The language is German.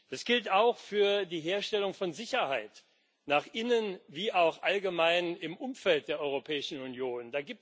Das gilt auch für die Herstellung von Sicherheit, nach innen wie auch allgemein im Umfeld der Europäischen Union.